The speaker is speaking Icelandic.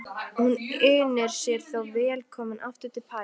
Hún unir sér þó vel komin aftur til Parísar.